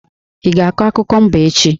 Ị ga-akọ akụkọ mba echi!